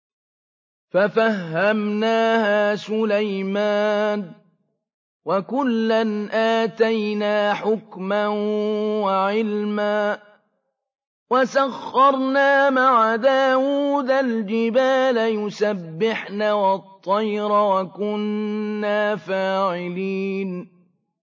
فَفَهَّمْنَاهَا سُلَيْمَانَ ۚ وَكُلًّا آتَيْنَا حُكْمًا وَعِلْمًا ۚ وَسَخَّرْنَا مَعَ دَاوُودَ الْجِبَالَ يُسَبِّحْنَ وَالطَّيْرَ ۚ وَكُنَّا فَاعِلِينَ